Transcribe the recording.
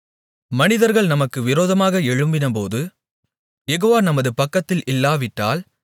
மனிதர்கள் நமக்கு விரோதமாக எழும்பினபோது யெகோவா நமது பக்கத்தில் இல்லாவிட்டால்